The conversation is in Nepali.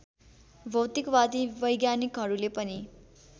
भौतिकवादी वैज्ञानिकहरूले पनि